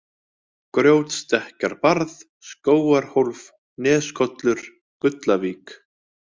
Grjótstekkjarbarð, Skógarhólf, Neskollur, Gullavík